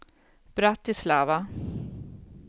Bratislava